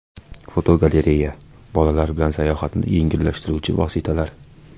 Fotogalereya: Bolalar bilan sayohatni yengillashtiruvchi vositalar.